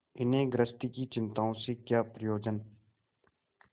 इन्हें गृहस्थी की चिंताओं से क्या प्रयोजन